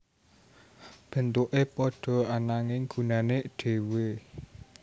Bentuke padha ananging gunane dhewe